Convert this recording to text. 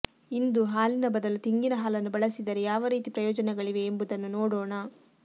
ಇಂದು ಹಾಲಿನ ಬದಲು ತೆಂಗಿನ ಹಾಲನ್ನು ಬಳಸಿದರೆ ಯಾವ ರೀತಿಯ ಪ್ರಯೋಜನಗಳಿವೆ ಎಂಬುದನ್ನು ನೋಡೋಣ